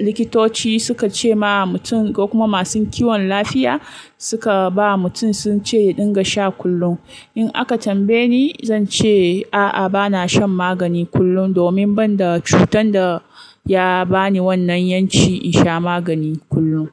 likitoci suka ce ma mutum ko kuma masu kiwon lafiya suka ba mutum sun ce ya dinga sha kullum. In aka tambaye ni, zan ce a'a bana shan magani kullum domin ban da cutar da ya ba ni wannan yanci in sha magani kullum.